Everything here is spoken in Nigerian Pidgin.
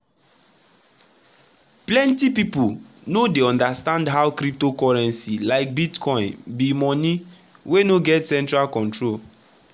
plenty people no dey understand how cryptocurrency like bitcoin be money wey no get any central control.